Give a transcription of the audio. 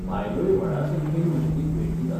बायलोय व्हडा संख्येन मशीदीक भेट दितात.